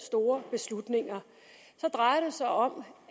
store beslutninger drejer det sig om